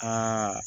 Aa